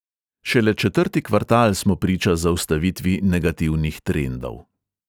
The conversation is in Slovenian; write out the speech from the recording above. Šele četrti kvartal smo priča zaustavitvi negativnih trendov.